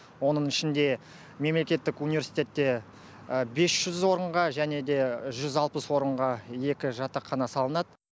оның ішінде мемлекеттік университетте бес жүз орынға және де жүз алпыс орынға екі жатақхана салынады